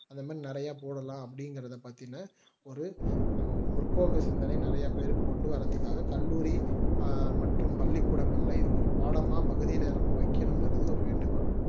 அந்த மாதிரி நிறைய போடலாம் அப்படிங்கிறத பத்தின ஒரு முற்போக்கு சிந்தனை நிறைய பேருக்கு கொண்டு வாறதுக்காக கல்லூரி மற்றும் பள்ளிக்கூடங்கள்ல இது ஒரு பாடமா பகுதி நேரமும் வைக்கணும் என்கிறது ஒரு வேண்டுகோள்